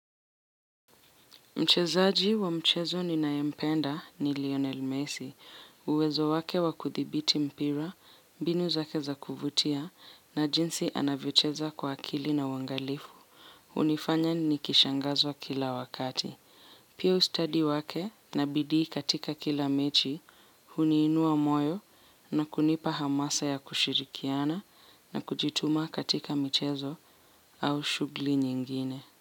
Mchezaji wa mchezo ni naye mpenda ni Lionel Messi. Uwezo wake wa kuthibiti mpira, mbinu zake za kuvutia, na jinsi anavyocheza kwa akili na wangalifu. Unifanya ni kishangazwa kila wakati. Pia ustadi wake na bidii katika kila mechi, huniinua moyo na kunipa hamasa ya kushirikiana na kujituma katika mchezo au shugli nyingine.